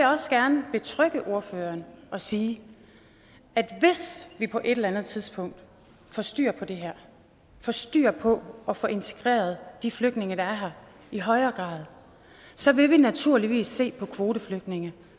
også gerne betrygge ordføreren og sige at hvis vi på et eller andet tidspunkt får styr på det her får styr på at få integreret de flygtninge der er her i højere grad så vil vi naturligvis se på kvoteflygtninge